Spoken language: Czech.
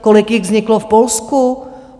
Kolik jich vzniklo v Polsku?